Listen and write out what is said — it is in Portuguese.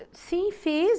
sim, fiz.